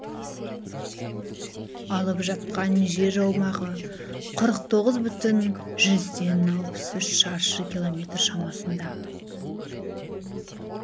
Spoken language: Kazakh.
алып жатқан жер аумағы қырық тоғыз бүтін жүзден алпыс үш шаршы километр шамасында